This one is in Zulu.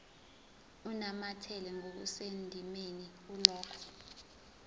unamathela ngokusendimeni kulokho